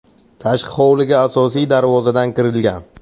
Tashqi hovliga asosiy darvozadan kirilgan.